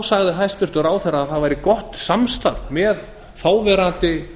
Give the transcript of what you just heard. sagði hæstvirtur ráðherra að það væri gott samstarf með þáverandi